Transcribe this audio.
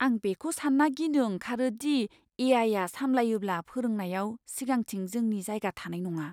आं बेखौ सानना गिनो ओंखारो दि ए.आइ.आ सामलायोब्ला फोरोंनायाव सिगांथिं जोंनि जायगा थानाय नङा।